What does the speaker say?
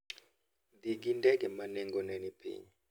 Dhi gi ndege ma nengone ni piny.